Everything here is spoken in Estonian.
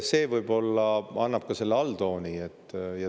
See võib-olla annab ka selle alltooni.